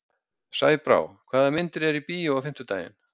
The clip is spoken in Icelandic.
Sæbrá, hvaða myndir eru í bíó á fimmtudaginn?